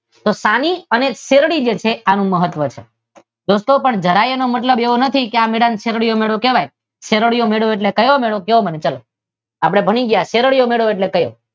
તો સાની અને શેરડી જે છે આનું મહત્વ છે. કે દોસ્તો જરાય ઇનો મતલબ એવો નથી કે એને શેરડીયો મેળો કહેવાય. શેરડીયો મેળો એટલે કેવો મેળો? ક્યો મને ચાલો? આપદે ભણી ગ્યાં શેરડીયો મેળો એટલે કેવો?